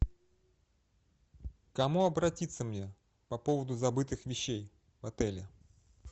к кому обратиться мне по поводу забытых вещей в отеле